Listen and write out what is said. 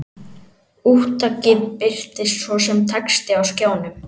Úttakið birtist svo sem texti á skjánum.